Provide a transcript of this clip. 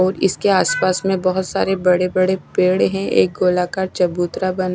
और इसके आसपास में बहुत सारे बड़े बड़े पेड़ हैं एक गोलाकार चबूतरा बना--